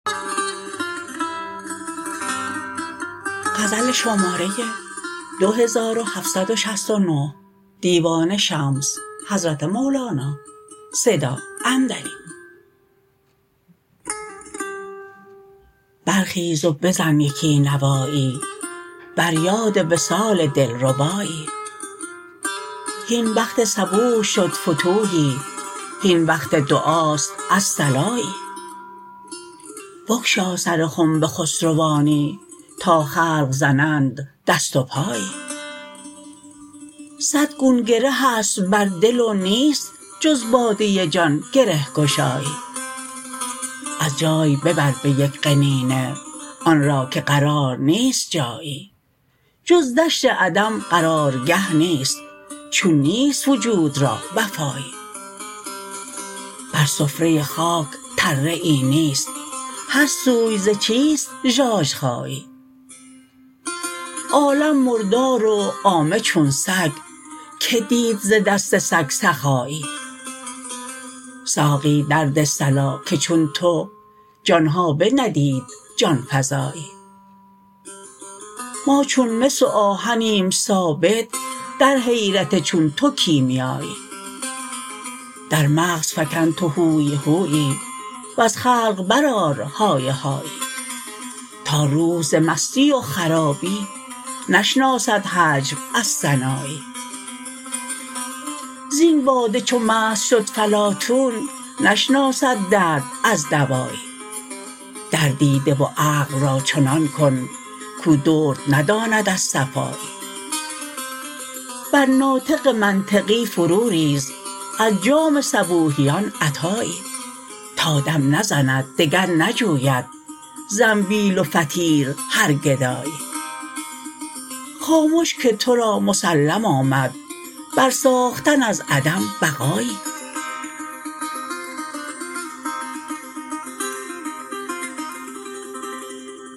برخیز و بزن یکی نوایی بر یاد وصال دلربایی هین وقت صبوح شد فتوحی هین وقت دعاست الصلایی بگشا سر خنب خسروانی تا خلق زنند دست و پایی صد گون گره است بر دل و نیست جز باده جان گره گشایی از جای ببر به یک قنینه آن را که قرار نیست جایی جز دشت عدم قرارگه نیست چون نیست وجود را وفایی بر سفره خاک تره ای نیست هر سوی ز چیست ژاژخایی عالم مردار و عامه چون سگ کی دید ز دست سگ سخایی ساقی درده صلا که چون تو جان ها بندید جان فزایی ما چون مس و آهنیم ثابت در حیرت چون تو کیمیایی در مغز فکن تو هوی هویی وز خلق برآر های هایی تا روح ز مستی و خرابی نشناسد هجو از ثنایی زین باده چو مست شد فلاطون نشناسد درد از دوایی دردی ده و عقل را چنان کن کو درد نداند از صفایی بر ناطق منطقی فروریز از جام صبوحیان عطایی تا دم نزند دگر نجوید زنبیل و فطیر هر گدایی خامش که تو را مسلم آمد برساختن از عدم بقایی